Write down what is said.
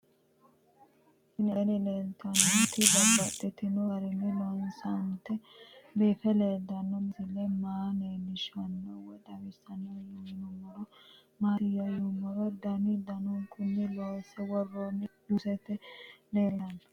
Tinni aleenni leelittannotti babaxxittinno garinni loonseenna biiffe leelittanno misile maa leelishshanno woy xawisannori maattiya yinummoro danu danunkunni loonsse woroonni juussette leelittanno